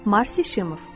Marşi Şimoff.